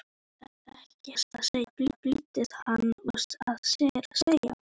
Ég hef ekkert að segja flýtti hann sér að segja.